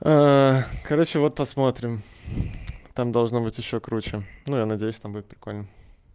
короче вот посмотрим там должно быть ещё круче но я надеюсь там будет прикольно